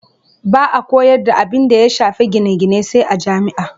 Ba a koyar da abinda ya shafi gine-gine sai a jami'a.